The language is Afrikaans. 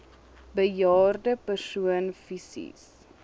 bejaarde persoon fisies